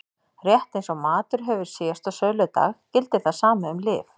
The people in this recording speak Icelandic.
Rétt eins og matur hefur síðasta söludag gildir það sama um lyf.